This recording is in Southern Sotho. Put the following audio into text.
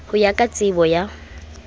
ho ya ka tsebo ya